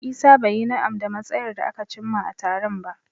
Isah bai yi na'am da matsayar da aka cimma a taron ba.